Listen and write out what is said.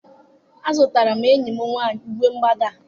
Azụtara m enyi m nwanyị uwe mwụda a